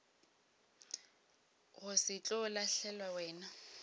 go se tlo lahlelwa wena